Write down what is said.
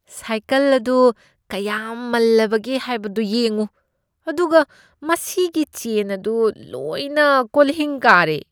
Cycle ꯑꯗꯨ ꯀꯌꯥꯝ ꯃꯜꯂꯕꯒꯦ ꯍꯥꯏꯕꯗꯨ ꯌꯦꯡꯉꯨ ꯑꯗꯨꯒ ꯃꯁꯤꯒꯤ ꯆꯦꯟ ꯑꯗꯨ ꯂꯣꯏꯅ ꯀꯣꯜꯍꯤꯡ ꯀꯥꯔꯦ꯫